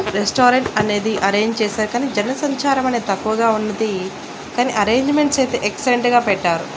Restaurant అనేది arrange చేశాక కానీ జనసంచారం అనేది తక్కువగా ఉన్నది కానీ అరేంజ్మెంట్స్ అయితే ఎక్సలెంట్ గా పెట్టారు.